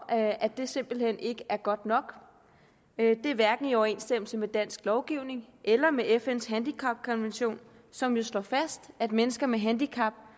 at det simpelt hen ikke er godt nok det er hverken i overensstemmelse med dansk lovgivning eller med fns handicapkonvention som jo slår fast at mennesker med handicap